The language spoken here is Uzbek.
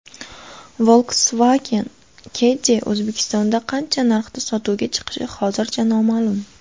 Volkswagen Caddy O‘zbekistonda qancha narxda sotuvga chiqishi hozircha noma’lum.